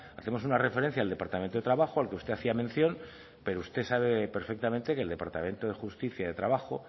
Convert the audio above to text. hacemos una referencia al departamento de trabajo al que usted hacía mención pero usted sabe perfectamente que el departamento de justicia y de trabajo